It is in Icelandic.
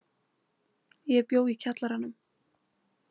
Ég bjó í kjallaranum.